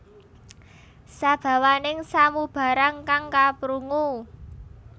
Sabawaning samubarang kang kaprungu